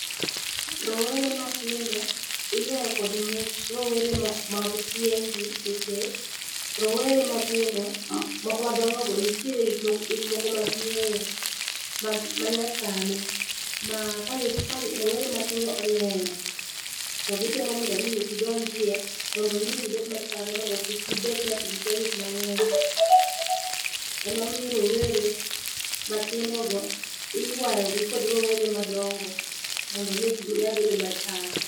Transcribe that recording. Rowere matindo iywayo kod much rowere mag tieng'gi nikech rowere matindo ok madongogo nitiere gikmoko maging'eyo mag manyasani. Ma ka rowere matindo oneno, to gitemo mondo mi gidonjie mondo gimi gibed machalre mondo kik gibed ni ati gikia gik mang'eny. Emomiyo rowere matindogo iywayogi kod rowere madongo, mondo mi ginyal bedo machal.